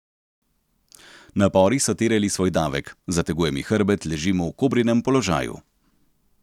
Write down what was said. Napori so terjali svoj davek: 'Zateguje mi hrbet, ležim v kobrinem položaju.